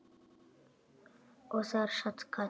Og þar sat Katrín.